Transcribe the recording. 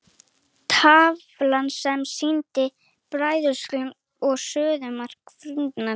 Tafla sem sýnir bræðslumark og suðumark frumefnanna.